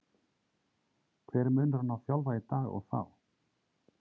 Hver er munurinn á að þjálfa í dag og þá?